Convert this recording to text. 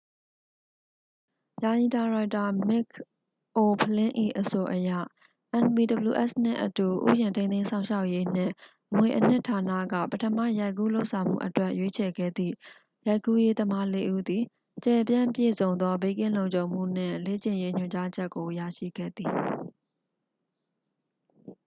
ယာယီဒါရိုက်တာ မစ်ခ်အိုဖလင်း၏ အဆိုအရ npws နှင့်အတူ ဥယျာဉ် ထိန်းသိမ်းစောင့်ရှောက်ရေးနှင့် အမွေအနှစ်ဌာနက ပထမရိုက်ကူးလုပ်ဆောင်မှုအတွက် ရွေးချယ်ခဲ့သည့် ရိုက်ကူးရေးသမားလေးဦးသည် ကျယ်ပြန့်ပြည့်စုံသော ဘေးကင်းလုံခြုံမှုနှင့် လေ့ကျင့်ရေးညွှန်ကြားချက်ကို ရရှိခဲ့သည်